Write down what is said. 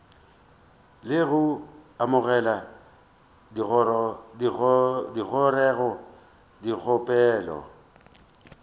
le go amogela dingongorego dikgopelo